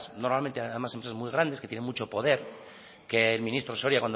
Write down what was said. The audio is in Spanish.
normalmente empresas muy grandes que tienen mucho poder que el ministro soria